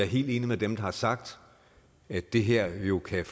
helt enig med dem der har sagt at det her jo kan